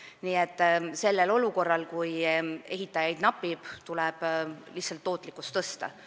Nii et kui tekib olukord, kus ehitajaid napib, siis tuleb lihtsalt tootlikkust suurendada.